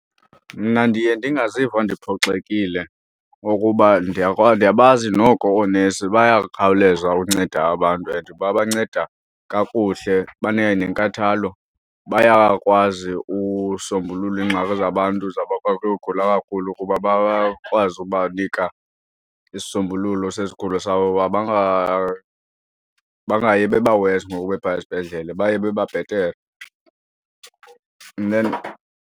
Mna ndiye ndingaziva ndiphoxekile ukuba ndiyabazi noko oonesi bayakhawuleza unceda abantu and babanceda kakuhle banayo nenkathalo, bayakwazi usombulula iingxaki zabantu. Ngokwezabantu zabo bagula kakhulu ukuba bakwazi ubanika isisombululo sezigulo sabo uba bangayi bebawesi ngoku bephaya esibhedlele baye bebabhetere and then.